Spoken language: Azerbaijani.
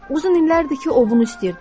Uzun illərdir ki, o bunu istəyirdi.